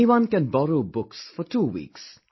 Anyone can borrow books for two weeks